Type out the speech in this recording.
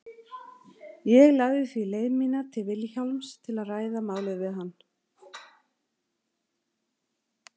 Ég lagði því leið mína til Vilhjálms til að ræða málið við hann.